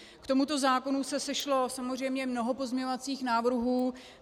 K tomuto zákonu se sešlo samozřejmě mnoho pozměňovacích návrhů.